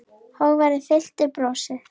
Hógværð fyllti brosið.